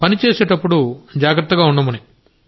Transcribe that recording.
పని చేసేప్పుడు జాగ్రత్తగా ఉండమని